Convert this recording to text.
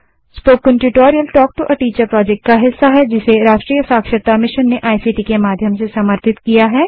spoken tutorial talk to a teacher project का हिस्सा है जिसे राष्ट्रीय साक्षरता मिशन ने इक्ट के माध्यम से समर्थित किया है